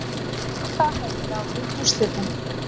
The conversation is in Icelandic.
Það hafi ráðið úrslitum